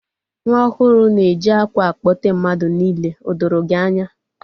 Nwa ọhuru na-eji akwa akpote mmadu niile. O doro gi anya?